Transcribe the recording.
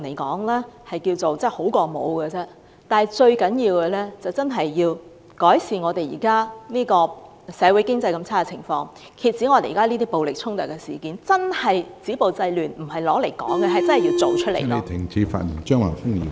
最重要的是，政府要真正改善現時社會經濟惡劣的情況，遏止各種暴力衝突事件，真正止暴制亂，切實行動起來而非流於空談。